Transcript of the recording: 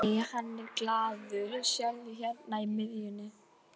Nei, hann er gallaður, sérðu hérna í miðjunni.